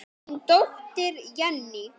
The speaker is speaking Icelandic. Þín dóttir, Jenný.